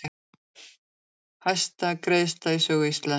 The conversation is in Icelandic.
Hæsta greiðsla í sögu Íslands